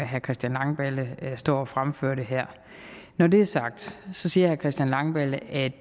herre christian langballe står og fremfører det her når det er sagt siger herre christian langballe at